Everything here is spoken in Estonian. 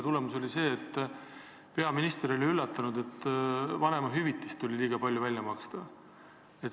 Tulemus oli see, et peaminister oli üllatunud, et vanemahüvitist tuli liiga palju välja maksta.